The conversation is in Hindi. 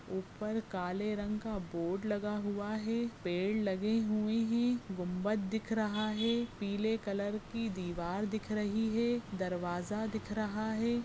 ऊपर काले रंग का बोर्ड लगा हुवा है पेड लगे हुवे हे गुंबद दिख रहा है पीले कलर की दीवार दिख रही है दरवाजा दिख रहा है।